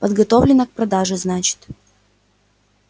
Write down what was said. подготовлено к продаже значит